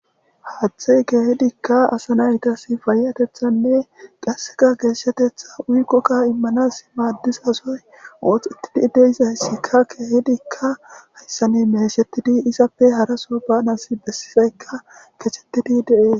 haaththe geehidikka asa naytas fayatethanne qasseka geeshshatetha uykkokka immanas maaddisasoy ooxetidi deisayssikka keehidikka hayssani meshettidi isappe haraso ba nas bessifeykka kechettidi deees